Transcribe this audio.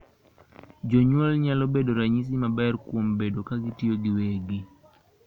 Jonyuol nyalo bedo ranyisi maber kuom bedo kagitiyo giwegi.